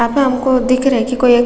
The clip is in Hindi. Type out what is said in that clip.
यहाँ पे हमको दिख रहा है की कोई एक --